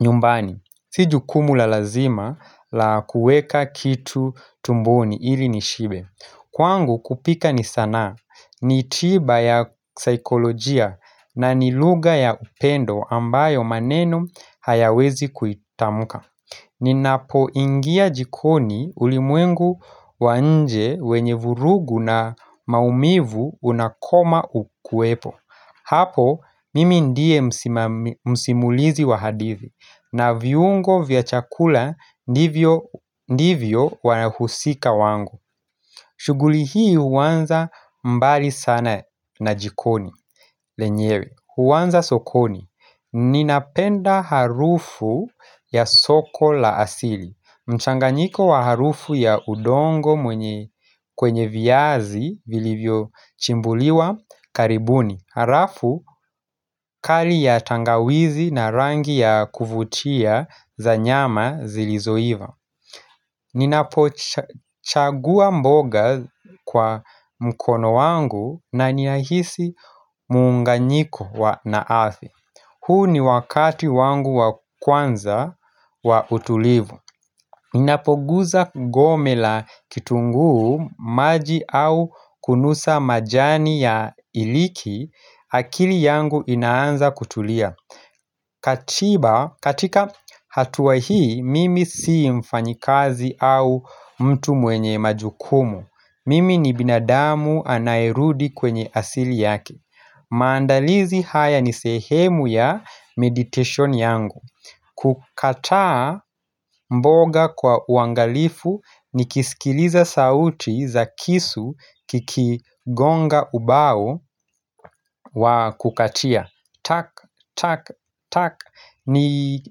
nyumbani Si jukumu la lazima la kuweka kitu tumboni ili nishibe Kwangu kupika ni sanaa, nitiba ya saikolojia na ni lugha ya upendo ambayo maneno hayawezi kuitamuka Ninapo ingia jikoni ulimwengu wa nje wenye vurugu na maumivu unakoma ukuepo Hapo mimi ndie msimulizi wa hadithi na viungo vya chakula ndivyo wanahusika wangu shuguli hii uwanza mbali sana na jikoni lenyewe Uwanza sokoni Ninapenda harufu ya soko la asili mchanganyiko wa harufu ya udongo mwenye kwenye viyazi vilivyo chimbuliwa karibuni Harafu kari ya tangawizi na rangi ya kuvutia za nyama zilizoiva Ninapo chagua mboga kwa mkono wangu na ninahisi muunganyiko wa na ardhi huu ni wakati wangu wa kwanza wa utulivu Ninapoguza gome la kitunguu maji au kunusa majani ya iliki akili yangu inaanza kutulia Katiba katika hatua hii mimi sii mfanyikazi au mtu mwenye majukumu Mimi ni binadamu anaerudi kwenye asili yake maandalizi haya ni sehemu ya meditation yangu kukataa mboga kwa uangalifu ni kiskiliza sauti za kisu kikigonga ubao wa kukatia Tak, tak, tak ni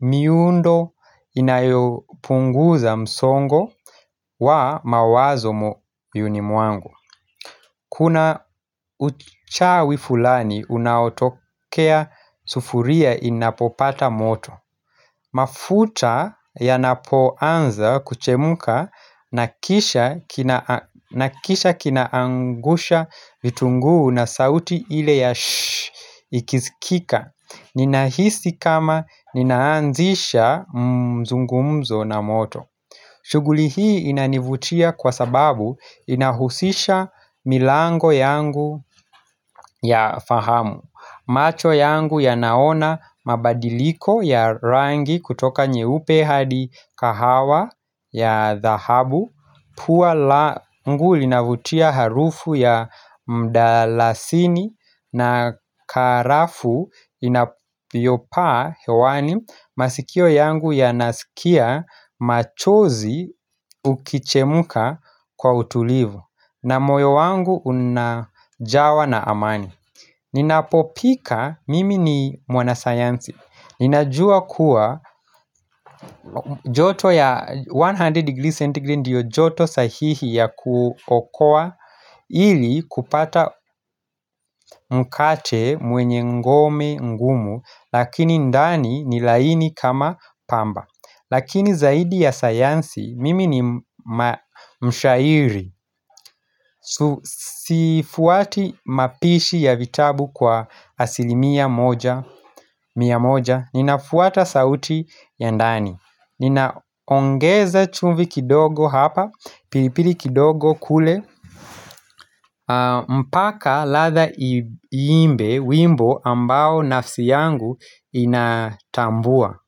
miundo inayopunguza msongo wa mawazo moyoni mwangu Kuna uchawi fulani unaotokea sufuria inapopata moto mafuta yanapoanza kuchemuka nakisha kinaangusha vitunguu na sauti ile ya shh ikisikika Ninahisi kama ninaanzisha mzungumzo na moto shuguli hii inanivutia kwa sababu inahusisha milango yangu ya fahamu macho yangu ya naona mabadiliko ya rangi kutoka nyeupe hadi kahawa ya dhahabu Pua langu linavutia harufu ya mdalasini na karafu inayopaa hewani masikio yangu ya nasikia machozi ukichemuka kwa utulivu na moyo wangu unajawa na amani Ninapopika mimi ni mwana sayansi Ninajua kuwa joto ya 100 degrees centigrade ndiyo joto sahihi ya kuokua ili kupata mkate mwenye ngome ngumu lakini ndani ni laini kama pamba Lakini zaidi ya sayansi mimi ni mshairi sifuati mapishi ya vitabu kwa asilimia moja Miya moja, ninafuata sauti ya ndani Ninaongeza chumvi kidogo hapa, pilipili kidogo kule mpaka ladha iimbe, wimbo ambao nafsi yangu inatambua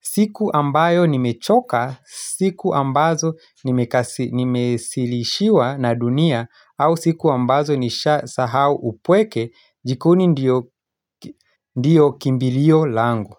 siku ambayo nimechoka, siku ambazo nimesilishiwa na dunia au siku ambazo nisha sahau upweke jikoni ndio kimbilio langu.